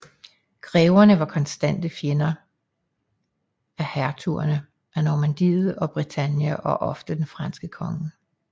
Greverne var konstante fjender af hertugerne af Normandiet og Bretagne og ofte den franske konge